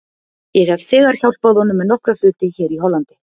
Ég hef þegar hjálpað honum með nokkra hluti hér í Hollandi.